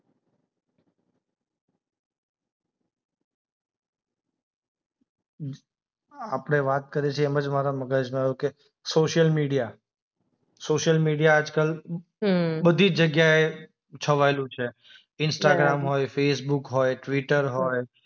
આપણે વાત કરીએ છીએ એમ જ મારા મગજમાં આઈવું કે સોશિયલ મીડિયા. સોશિયલ મીડિયા આજકાલ એ બધી જગ્યાએ છવાયેલું છે ઇન્સ્ટાગ્રામ હોય, ફેસબુક હોય, ટ્વિટર હોય.